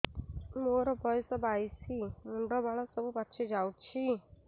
ମୋର ବୟସ ବାଇଶି ମୁଣ୍ଡ ବାଳ ସବୁ ପାଛି ଯାଉଛି